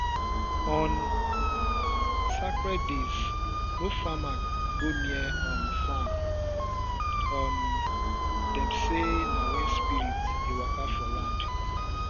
on sacred days no farmer go near um farm um dem say na when spirits dey waka for land